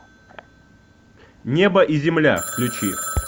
небо и земля включи